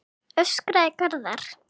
öskraði Garðar.